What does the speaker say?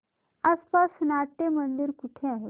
आसपास नाट्यमंदिर कुठे आहे